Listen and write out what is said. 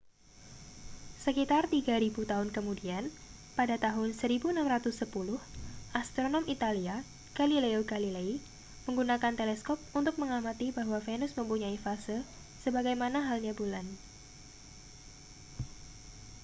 sekitar tiga ribu tahun kemudian pada tahun 1610 astronom italia galileo galilei menggunakan teleskop untuk mengamati bahwa venus mempunyai fase sebagaimana halnya bulan